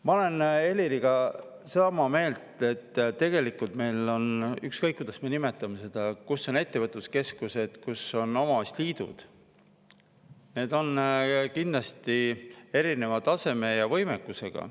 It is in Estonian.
Ma olen Heliriga sama meelt, et tegelikult meil on need – ükskõik, kuidas me nimetame, kus on ettevõtluskeskused, kus on omavalitsusliidud – kindlasti erineva taseme ja võimekusega.